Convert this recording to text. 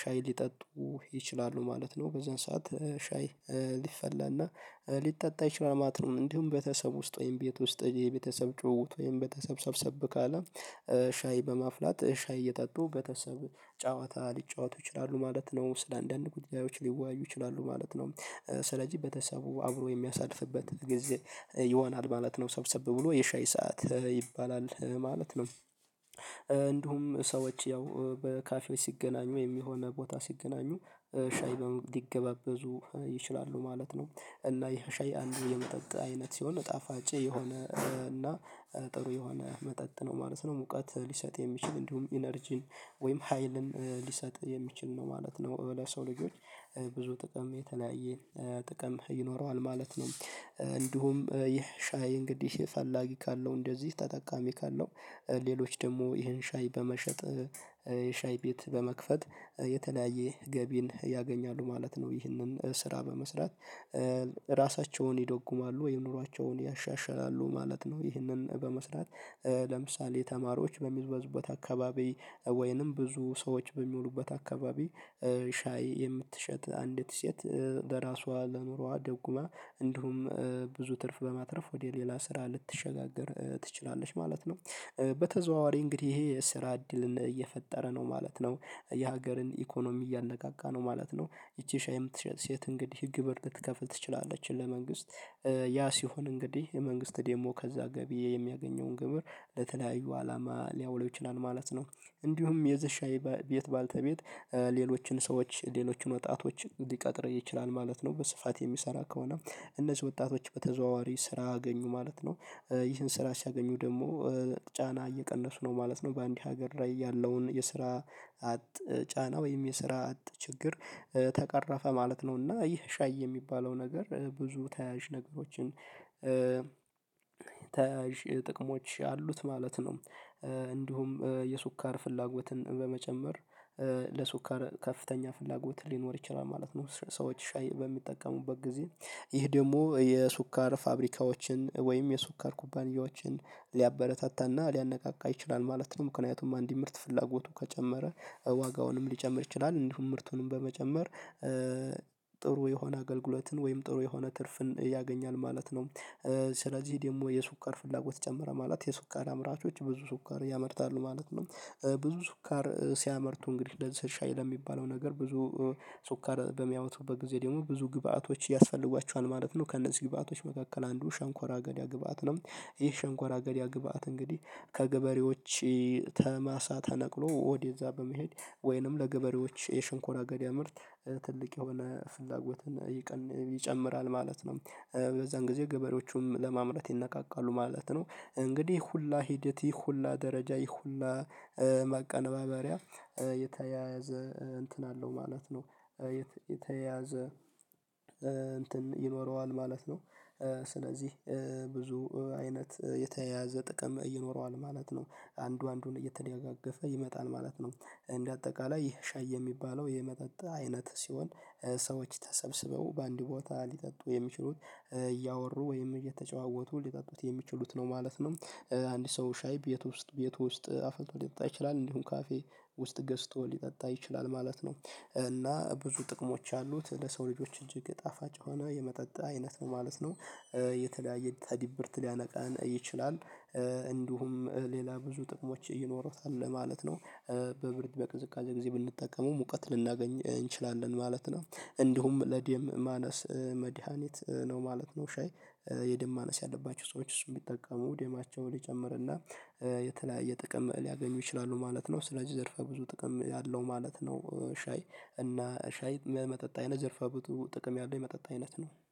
ሻይ ሊጠጡ ይችላሉ ማለት ነው በዛን ሰዓት ሻይ ሊፈላና ሊጠጣ ይችላል ማለት ነው። እንዲሁም ቤተሰብ ውስጥ ወይም ቤት ውስጥ የቤተሰብ ጭውውት ወይም ቤተሰብ ሰብሰብ ካለ ሻይ በማፍላት ሻይ እየጠጡ ቤተሰብ ጨዋታ ሊጫወቱ ይችላሉ ማለት ነው ስለአንዳንድ ጉዳዮች ሊወያዩ ይችላሉ ማለት ነው። ስለዚህ በተሰቡ አብሮ የሚያሳልፍበት ጊዜ ይሆናል ማለት ነው ሰብሰብ ብሎ የሻይ ሰዓት ይባላል ማለት ነው። እንዲሁም ሰዎች ያው በካፌዎች ሲገናኙ ወይም የሆነ ቦታ ሲገናኙ ሻይ ሊገባበዙ ይችላሉ ማለት ነው። እና ይሄ ሻይ አንዱ የመጠጥ አይነት ሲሆን ጣፋጭ የሆነ እና ጥሩ የሆነ መጠጥ ነው ማለት ነው። ሙቀት ሊሰጥ የሚችል እንዲሁም ኢነርጂን ወይም ሀይልን ሊሰጥ የሚችል ነው ማለት ነው። ለሰው ልጆች ብዙ ጥቅም የተለያየ ጥቅም ይኖረዋል ማለት ነው። እንዲሁም ይህ ሻይ እንግዲህ ፈላጊ ካለው እንደዚህ ተጠቃሚ ካለው ሌሎች ደግሞ ይሄን ሻይ በመሸጥ ሻይ ቤት በመክፈት የተለያየ ገቢን ያገኛሉ ማለት ነው። ይህንን ስራ በመስራት ራሳቸውን ይደጉማሉ ወይም ኑሯቸውን ያሻሻላሉ ማለት ነው። ይህንን በመስራት ለምሳሌ ተማሪዎች በሚበዙበት አካባቢ ወይንም ብዙ ሰዎች በሚውሉበት አካባቢ ሻይ የምትሸጥ አንዲት ሴት ለራሷ ለኑሮዋ ደጉማ እንዲሁም ብዙ ትርፍ በማትረፍ ወደ ሌላ ስራ ልትሸጋገር ትችላለች ማለት ነው። በተዘዋዋሪ እንግዲህ ይሄ የስራ እድልን እየፈጠረ ነው ማለት ነው የሀገርን ኢኮኖሚ እያነቃቃ ነው ማለት ነው። ይቺ ሻይ የምትሸጥ ሴት እንግዲህ ግብር ልትከፍል ትችላለች ለመንግስት ያ ሲሆን እንግዲህ የመንግስት ዴሞ ከዛ ገቢ የሚያገኘውን ግብር ለተለያዩ አላማ ሊያውለው ይችላል ማለት ነው። እንዲሁም የዚ ሻይ ቤት ባልተቤት ሌሎችን ሰዎች ሌሎችን ወጣቶች ሊቀጥር ይችላል ማለት ነው በስፋት የሚሰራ ከሆነ እነዚህ ወጣቶች በተዘዋዋሪ ስራ አገኙ ማለት ነው። ይህን ስራ ሲያገኙ ደግሞ ጫና እየቀነሱ ነው ማለት ነው በአንድ ሀገር ላይ ያለውን የስራ አጥ ጫና ወይም የስራ አጥ ችግር ተቀረፈ ማለት ነው። እና ይህ ሻይ የሚባለው ነገር ብዙ ተያያዥ ነገሮችን ተያያዥ ጥቅሞች አሉት ማለት ነው። እንዲሁም የሱካር ፍላጎትን በመጨመር ለሱካር ከፍተኛ ፍላጎት ሊኖር ይችላል ማለት ነው ሰዎች ሻይ በሚጠቀሙበት ጊዜ ይህ ደግሞ የሱካር ፋብሪካዎችን ወይም የሱካር ኩባንያዎችን ሊያበረታታና ሊያነቃቃ ይችላል ማለት ነው። ምክንያቱም አንድ ምርት ፍላጎቱ ከጨመረ ዋጋውንም ሊጨምር ይችላል እንዲሁም ምርቱንም በመጨመር ጥሩ የሆነ አገልግሎትን ወይም ጥሩ የሆነ ትርፍን ያገኛል ማለት ነው። ስለዚህ ዴሞ የሱካር ፍላጎት ጨምረ ማለት የሱካር አምራቾች ብዙ ሱካር ያመርታሉ ማለት ነው። ብዙ ሱካር ሲያመርቱ እንግዲህ ለሊትስ ሻይ ለሚባለው ነገር ብዙ ሱካር በሚያወጡበት ጊዜ ደግሞ ብዙ ግብአቶች ያስፈልጓቸዋል ማለት ነው። ከነዚህ ግብአቶች መካከል አንዱ ሸንኮራ አገዳ ግብአት ነው ይህ ሸንኮራ አገዳ ግብአት እንግዲህ ከገበሬዎች ተማሳ ተነቅሎ ወዲያ እዛ በመሄድ ወይንም ለገበሬዎች የሽንኮራ አገዳ ምርት ትልቅ የሆነ ፍላጎትን ይቀን ይጨምራል ማለት ነው። በዛን ጊዜ ገበሬዎቹም ለማምረት ይነቃቃሉ ማለት ነው። እንግዲህ ሁላ ሂደት ይህ ሁላ ደረጃ ይህ ሁላ ማቀነባበሪያ የተያያዘ እንትን አለው ማለት ነው የተያያዘ እንትን ይኖረዋል ማለት ነው። ስለዚህ ብዙ አይነት የተያያዘ ጥቅም ይኖረዋል ማለት ነው አንዱ አንዱን እየተደጋገፈ ይመጣል ማለት ነው። እንደ አጠቃላይ ይህ ሻይ የሚባለው የመጠጥ አይነት ሲሆን ሰዎች ተሰብስበው በአንድ ቦታ ሊጠጡ የሚችሉት እያወሩ ወይም እየተጫወቱ ሊጠጡት የሚችሉት ነው ማለት ነው። አንድ ሰው ሻይ ቤት ውስጥ ቤት ውስጥ አፈልቶ ሊጠጣ ይችላል እንዲሁም ካፌ ውስጥ ገዝቶ ሊጠጣ ይችላል ማለት ነው። እና ብዙ ጥቅሞች አሉት ለሰው ልጆች እጅግ ጣፋጭ የሆነ የመጠጥ አይነት ነው ማለት ነው። የተለያየ ተዲብርት ሊያነቃን ይችላል እንዲሁም ሌላ ብዙ ጥቅሞች ይኖሩታል ለማለት ነው። በብርድ በቅዝቃዜ ጊዜ ብንጠቀመው ሙቀት ልናገኝ እንችላለን ማለት ነው። እንዲሁም ለዴም ማነስ መድሃኒት ነው ማለት ነው። ሻይ የደም ማነስ ያለባቸው ሰዎች እሱን ቢጠቀሙ ደማቸው ሊጨምርና የተለያየ ጥቅም ሊያገኙ ይችላሉ ማለት ነው። ስለዚህ ዘርፈ ብዙ ጥቅም አለው ማለት ነው። ሻይ እና ሻይ መጠጥ አይነት ዘርፈ ብዙ ጥቅም ያለው የመጠጥ አይነት ነው።